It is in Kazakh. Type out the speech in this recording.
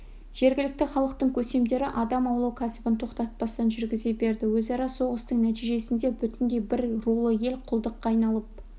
жергілікті халықтың көсемдері адам аулау кәсібін тоқтатпастан жүргізе берді өзара соғыстың нәтижесінде бүтіндей бір рулы ел құлдыққа айналып